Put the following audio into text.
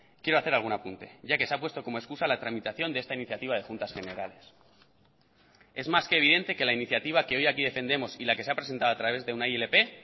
quiero hacer algún apunte ya que se ha puesto como excusa la tramitación de esta iniciativa de juntas generales es más que evidente que la iniciativa que hoy aquí defendemos y la que se ha presentado a través de una ilp